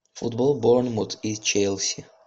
футбол борнмут и челси